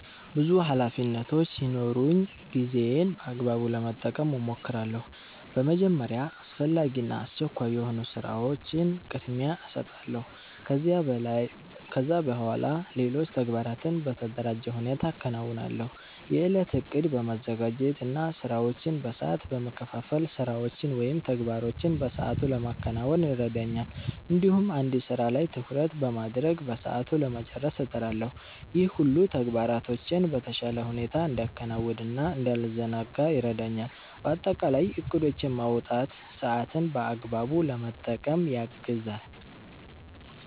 ብዙ ኃላፊነቶች ሲኖሩኝ ጊዜዬን በአግባቡ ለመጠቀም እሞክራለሁ። በመጀመሪያ አስፈላጊ እና አስቸኳይ የሆኑ ስራዎችን ቅድሚያ እሰጣለሁ። ከዚያ በኋላ ሌሎች ተግባራትን በተደራጀ ሁኔታ አከናውናለሁ። የእለት እቅድ በማዘጋጀት እና ስራዎችን በሰዓት በመከፋፈል ስራዎችን ወይም ተግባሮችን በሰአቱ ለማከናወን ይረዳኛል። እንዲሁም አንድ ስራ ላይ ትኩረት በማድረግ በሰዓቱ ለመጨረስ እጥራለሁ። ይህ ሁሉ ተግባራቶቼን በተሻለ ሁኔታ እንዳከናውን እና እንዳልዘናጋ ይረዳኛል። በአጠቃላይ እቅዶችን ማውጣት ሰአትን በአግባቡ ለመጠቀም ያግዛል።